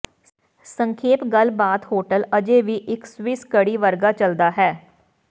ਸੰਖੇਪ ਗੱਲਬਾਤ ਹੋਟਲ ਅਜੇ ਵੀ ਇਕ ਸਵਿਸ ਘੜੀ ਵਰਗਾ ਚੱਲਦਾ ਹੈ